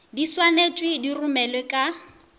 di swanetšwe di romelwe ka